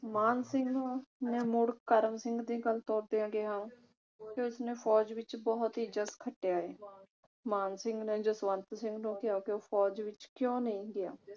ਮਾਨ ਸਿੰਘ ਨੇ ਮੁੜ ਕਰਮ ਸਿੰਘ ਦੀ ਗੱਲ ਤੋਰਦਿਆਂ ਕਿਹਾ ਕਿ ਉਸਨੇ ਫੌਜ ਵਿਚ ਬਹੁਤ ਹੀ ਇੱਜਤ ਖੱਟਿਆ ਹੈ। ਮਾਨ ਸਿੰਘ ਨੇ ਜਸਵੰਤ ਸਿੰਘ ਨੂੰ ਕਿਹਾ ਕਿ ਉਹ ਫੌਜ ਵਿਚ ਕਿਉਂ ਨਹੀਂ ਗਿਆ।